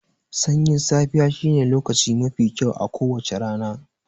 Sanyin safiya shine lokaci mafi kyau a kowacce rana.